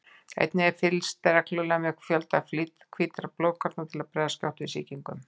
Einnig er fylgst reglulega með fjölda hvítkorna til að bregðast skjótt við sýkingum.